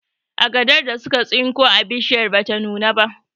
Agadar da suka tsinko a bishiyar bata nuna ba